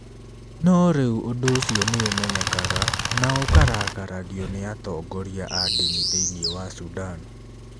No rĩu ũndũ ũcio nĩ ũmenyekaga na ũkarakaragio nĩ atongoria a ndini thĩinĩ wa Sudan.